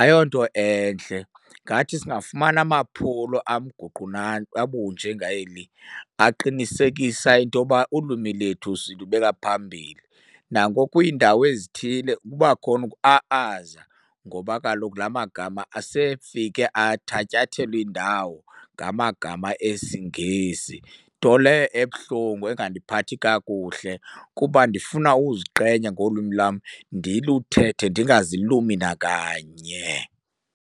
Ayonto entle, ngathi singafumana amaphulo abunjengeli aqinisekisa into yoba ulwimi lethu silubeka phambili. Nangoku kwiindawo ezithile kuba khona ukua-aza ngoba kaloku la magama asefike athatyathelwa indawo ngamagama esiNgesi, nto leyo ebuhlungu engandiphathi kakuhle kuba ndifuna uziqhenya ngolwimi lam ndiluthethe ndingazilumi nakanye.